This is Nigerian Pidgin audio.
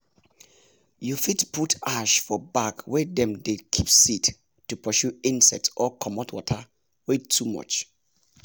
you fit put ash for bag wey dem dey keep seed to pursue insects or commot water wey too much